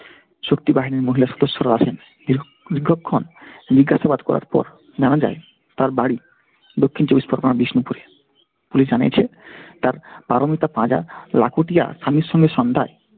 শক্তি বাহিনীর মহিলা সদস্যরাও আসেন। দীর্ঘ দীর্ঘক্ষণ জিজ্ঞাসাবাদ করার পর জানা যায় তার বাড়ি দক্ষিণ চব্বিশ পরগনার বিষ্ণুপুরে। police জানিয়েছে, তার পারমিতা পাঁজা লাখোটিয়া স্বামীর সঙ্গে সন্ধ্যায়